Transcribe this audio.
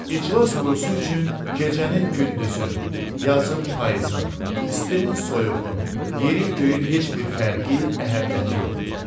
İclas qurusu üçün gecənin gündüzün, yazın payızın, istinin soyuğun, yerin göyün heç bir fərqi, əhəmiyyəti yoxdur.